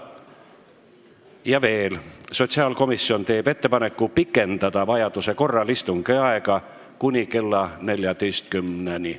Ja veel, sotsiaalkomisjon teeb ettepaneku pikendada vajaduse korral istungi aega kuni kella 14-ni.